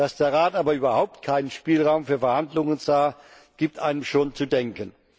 Dass der Rat aber überhaupt keinen Spielraum für Verhandlungen sah, gibt einem schon zu denken.